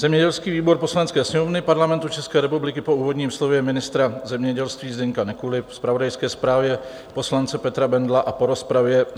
"Zemědělský výbor Poslanecké sněmovny Parlamentu České republiky po úvodním slově ministra zemědělství Zdeňka Nekuly, zpravodajské zprávě poslance Petra Bendla a po rozpravě